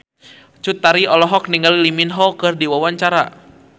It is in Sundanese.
Cut Tari olohok ningali Lee Min Ho keur diwawancara